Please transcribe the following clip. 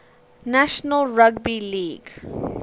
national rugby league